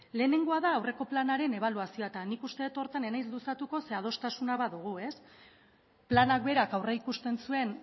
lehenengoa da aurreko planaren ebaluazioa eta nik uste dut horretan ez naiz luzatuko zeren adostasuna badugu ez plana berak aurreikusten zuen